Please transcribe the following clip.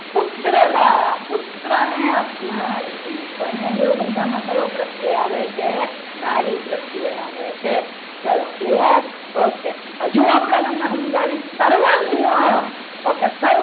પુત્ર દા પુત્રને આપનારી તો અહીંયા જોયું બધામાં કયો પ્રકાર આવે છે નારી પ્રત્યે આવે છે ચલો clear okay હજુ આપણે તેમને સમજાવી દઈએ સર્વજ્ઞ okay